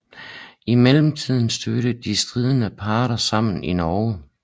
I mellemtiden stødte de stridende parter sammen i Norge